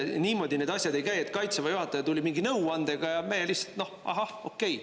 Niimoodi need asjad ei käi, et Kaitseväe juhataja tuli mingi nõuandega ja meie lihtsalt: "Noh, ahah, okei.